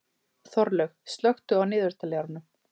Þorlaug, slökktu á niðurteljaranum.